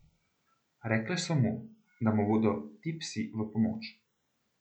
Rekle so mu, da mu bodo ti psi v pomoč.